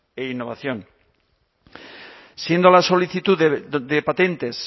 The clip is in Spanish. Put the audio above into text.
e innovación siendo la solicitud de patentes